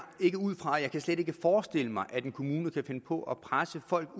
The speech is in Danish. ikke ud fra og jeg kan slet ikke forestille mig at en kommune kan finde på at presse folk